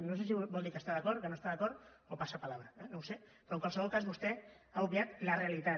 no sé si vol dir que hi està d’acord o que no hi està d’acord o pasa palabraperò en qualsevol cas vostè ha obviat la realitat